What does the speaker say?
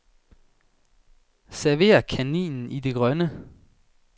Server kaninen i det grønne.